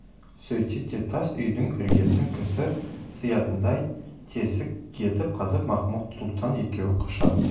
сөйтет те тас үйдің іргесін кісі сыятындай тесік етіп қазып махмуд-сұлтан екеуі қашады